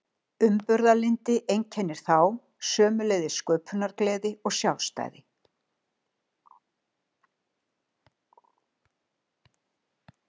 Umburðarlyndi einkennir þá, sömuleiðis sköpunargleði og sjálfstæði.